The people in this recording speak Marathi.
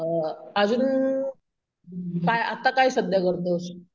अजून अम अजून काय अं आता काय सध्या करतोस?